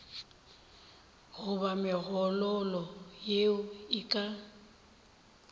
goba megololo yeo e ka